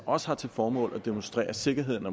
også har til formål at demonstrere sikkerheden